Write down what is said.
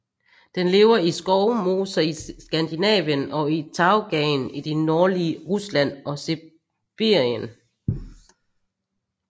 Den lever i skovmoser i Skandinavien og i tajgaen i det nordlige Rusland og Sibirien